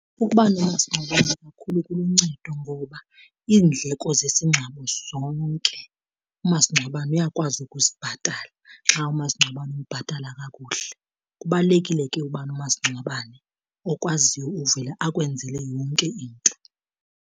Ukuba nomasingcwabane kuluncedo ngoba iindleko zesingcwabo zonke umasingcwabane uyakwazi ukuzibhatala xa umasingcwabane umbhatala kakuhle. Kubalulekile ke uba nomasingcwabane okwaziyo uvela akwenzele yonke into.